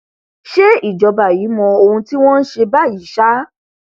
ṣe ìjọba yìí mọ ohun tí wọn ń ṣe báyìí ṣá